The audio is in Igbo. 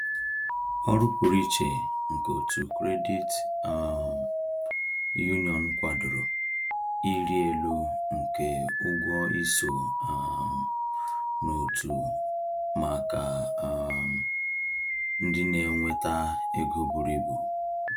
Ọrụ pụrụ iche nke otu credit um union kwadoro ịrị elu nke ụgwọ iso um n’otu maka um ndị na-enweta ego buru ibu.